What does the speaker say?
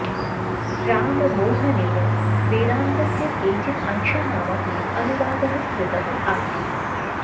राममोहनेन वेदान्तस्य केचित् अंशानाम् अपि अनुवादः कृतः आसीत्